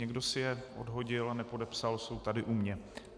Někdo si je odhodil a nepodepsal, jsou tady u mě.